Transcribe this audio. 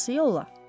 Hansı yolla?